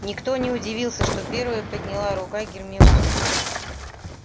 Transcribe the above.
никто не удивился что первой подняла рука гермиона